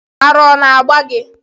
Ara ona agba gi?